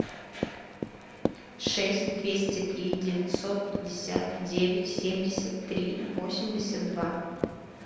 шесть двести три девятьсот пятьдесят девять семьдесят три восемьдесят два